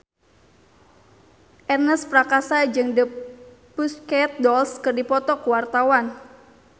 Ernest Prakasa jeung The Pussycat Dolls keur dipoto ku wartawan